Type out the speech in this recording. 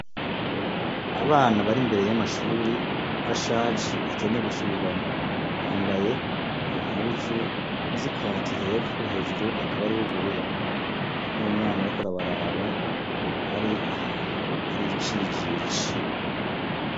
Abana bari imbere y'amashure ashaje akeneye gusubirwamo, bambaye impuzu z'ikaki hepfo hejuru hakaba hariho ubururu. N'umwana ariko arabaraba hari ahantu hari icijiji.